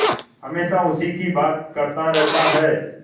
हमेशा उसी की बात करता रहता है